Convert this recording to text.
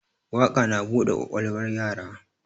Waƙa na buɗe ƙwaƙwalwar yara